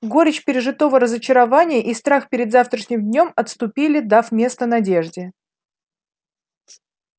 горечь пережитого разочарования и страх перед завтрашним днём отступили дав место надежде